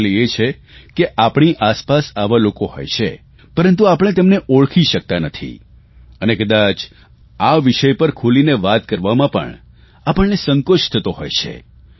મુશ્કેલી એ છે કે આપણી આસપાસ આવા લોકો હોય છે પરંતુ આપણે તેમને ઓળખી શકતા નથી અને કદાચ આ વિષય પર ખુલીને વાત કરવામાં પણ આપણને સંકોચ થતો હોય છે